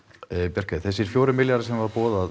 Bjarkey þessir fjórir milljarðar sem voru boðaðir